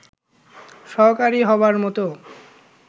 সহকারী হবার মত